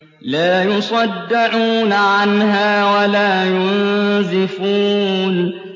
لَّا يُصَدَّعُونَ عَنْهَا وَلَا يُنزِفُونَ